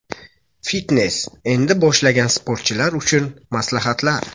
Fitnes: endi boshlagan sportchilar uchun maslahatlar.